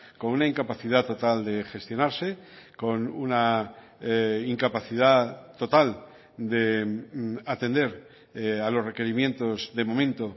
con una incapacidad total de gestionarse con una incapacidad total de atender a los requerimientos de momento